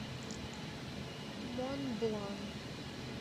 монблан